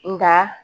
Nga